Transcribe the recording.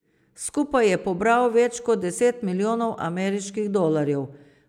Skupaj je pobral več kot deset milijonov ameriških dolarjev.